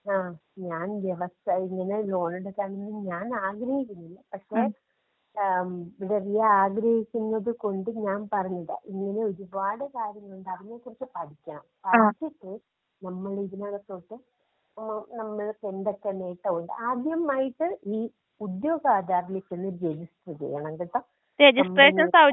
ആഹ് ഞാൻ വ്യവസ, ഇങ്ങനെ ലോൺ എടുക്കാനൊന്നും ഞാനാഗ്രഹിച്ചിരുന്നില്ല. പക്ഷേ ഏഹ് റിയ ആഗ്രഹിക്കുന്നത് കൊണ്ട് ഞാൻ പറഞ്ഞത് ഇങ്ങനെ ഒരുപാട് കാര്യങ്ങളുണ്ട് അതിനെ കുറിച്ച് പഠിക്കണം. പഠിച്ചിട്ട് നമ്മളിതിനകത്തോട്ട് നമ്മൾക്കെന്തൊക്കെ നേട്ടമുണ്ട് ആദ്യമായിട്ട് ഈ ഉദ്യോഗാധാറിലേക്കൊന്ന് രജിസ്റ്റർ ചെയ്യണം കെട്ടോ. *നോട്ട്‌ ക്ലിയർ*.